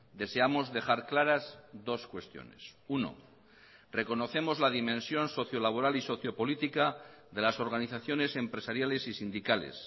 deseamos dejar claras dos cuestiones uno reconocemos la dimensión socio laboral y socio política de las organizaciones empresariales y sindicales